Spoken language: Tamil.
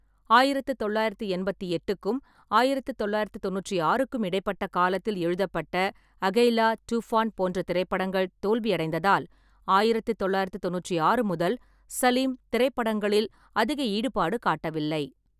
ஆயிரத்து தொள்ளாயிரத்தி என்பத்தி எட்டுக்கும் ஆயிரத்து தொள்ளாயிரத்தி தொண்ணூற்றி ஆறுக்கும் இடைப்பட்ட காலத்தில் எழுதப்பட்ட அகெய்லா, டூஃபான் போன்ற திரைப்படங்கள் தோல்வியடைந்ததால், ஆயிரத்து தொள்ளாயிரத்தி தொண்ணூற்றி ஆறு முதல் சலீம் திரைப்படங்களில் அதிக ஈடுபாடு காட்டவில்லை.